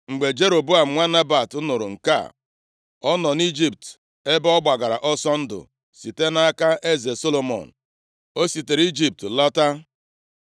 Mgbe Jeroboam nwa Nebat nụrụ nke a (ọ nọ nʼIjipt ebe ọ gbagara ọsọ ndụ site nʼaka eze Solomọn) o sitere Ijipt lọta.